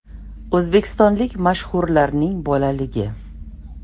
O‘zbekistonlik mashhurlarning bolaligi .